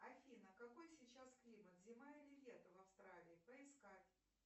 афина какой сейчас климат зима или лето в австралии поискать